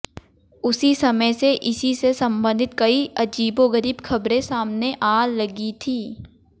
उसी समय से इसी से संबंधित कई अजीबोगरीब खबरें सामने आ लगी थी